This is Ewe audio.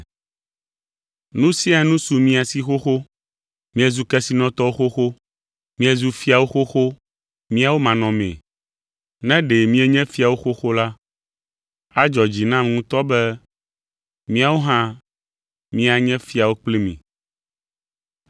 Nu sia nu su mia si xoxo! Miezu kesinɔtɔwo xoxo! Miezu fiawo xoxo míawo manɔmee. Ne ɖe mienye fiawo xoxo la, adzɔ dzi nam ŋutɔ be míawo hã míanye fiawo kpli mi.